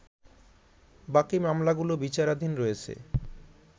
বাকি মামলাগুলো বিচারাধীন রয়েছ